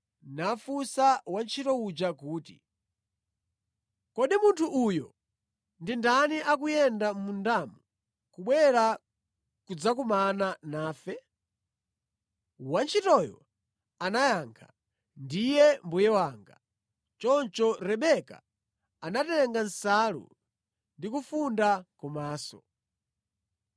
nafunsa wantchito uja kuti, “Kodi munthu uyo ndi ndani akuyenda mʼmundamo kubwera kudzakumana nafe?” Wantchitoyo anayankha, “Ndiye mbuye wanga.” Choncho Rebeka anatenga nsalu ndi kufunda kumaso.